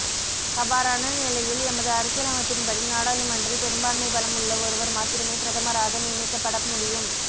அவ்வாறான நிலையில் எமது அரசியலமைப்பின்படி நாடாளுமன்றில் பெறும்பாண்மை பலம் உள்ள ஒருவர் மாத்திரமே பிரதமராக நியமிக்கப்பட முடியும்